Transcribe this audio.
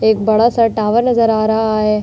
एक बड़ा सा टावर नजर आ रहा है।